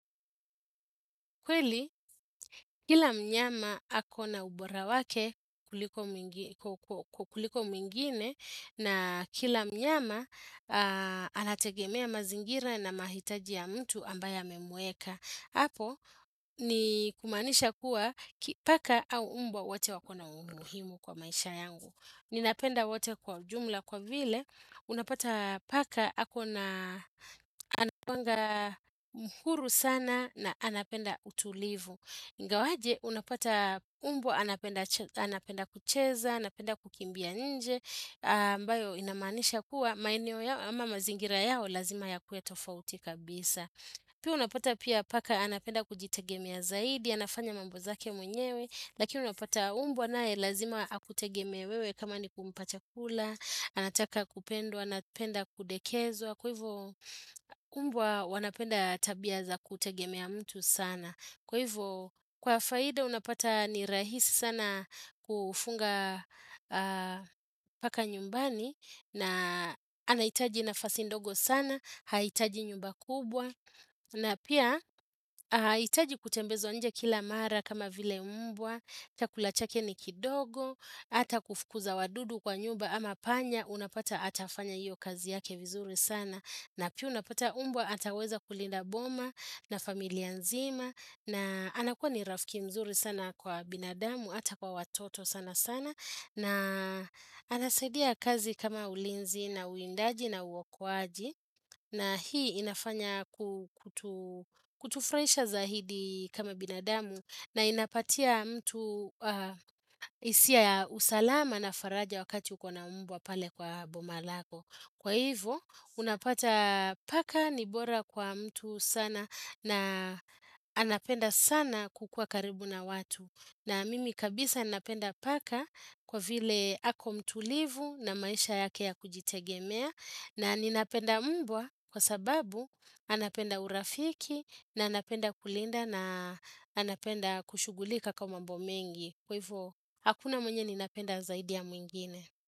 Kweli kila mnyama akona ubora wake kuliko mwingine na kila mnyama anategemea mazingira na mahitaji ya mtu ambaya amemweka. Apo ni kumaanisha kuwa paka au umbwa wate wakona umuhimu kwa maisha yangu Ninapenda wate kwa jumla kwa vile Unapata paka ako na anakuanga mhuru sana na anapenda utulivu ingawaje unapata umbwa anapenda kucheza, anapenda kukimbia nje ambayo inamaanisha kuwa maeneo yao ama mazingira yao lazima yakuwe tofauti kabisa Pia unapata pia paka anapenda kujitegemea ya zaidi, anafanya mambo zake mwenyewe, lakini unapata umbwa naye lazima akutegemee wewe kama ni kumpa chakula, anataka kupendwa, anapenda kudekezo, kwa hivo umbwa wanapenda tabia za kutegemea mtu sana. Kwa hivyo, kwa faida unapata ni rahisi sana kufuga paka nyumbani, na anahitaji nafasi ndogo sana, hahitaji nyumba kubwa, na pia hahitaji kutembezwa nje kila mara kama vile umbwa, chakula chake ni kidogo, ata kufukuza wadudu kwa nyumba ama panya, unapata atafanya iyo kazi yake vizuri sana. Na pia unapata umbwa ataweza kulinda boma na familia nzima na anakuwa ni rafiki mzuri sana kwa binadamu ata kwa watoto sana sana na anasaidia kazi kama ulinzi na uwindaji na uokoaji na hii inafanya kutufurahisha zaidi kama binadamu na inapatia mtu hisia ya usalama na faraja wakati ukona umbwa pale kwa boma lako. Kwa hivo, unapata paka ni bora kwa mtu sana na anapenda sana kukuwa karibu na watu. Na mimi kabisa anapenda paka kwa vile ako mtulivu na maisha yake ya kujitegemea. Na ninapenda mbwa kwa sababu anapenda urafiki na anapenda kulinda na anapenda kushugulika kwa mambo mengi. Kwa hivyo, hakuna mwenye ninapenda zaidi ya mwingine.